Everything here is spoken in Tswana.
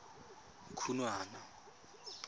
khunwana